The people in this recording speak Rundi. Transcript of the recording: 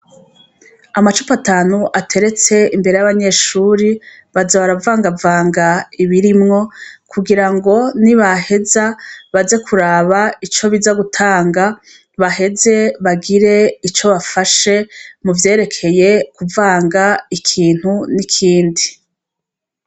Amacupa atanu ateretse imbere y'abanyeshure, baza baravangavanga ibirimwo kugira ngo nibaheza baze kuraba ico biza gutanga baheze bagire ico bafashe mu vyerekeye kuvanga ikintu n'ikindi.